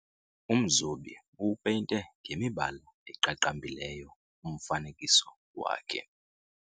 Umzobi uwupeyinte ngemibala eqaqambileyo umfanekiso wakhe.